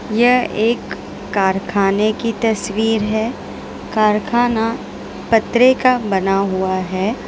यह एक कारखाने की तस्वीर है कारखाना पत्रे का बना हुआ है।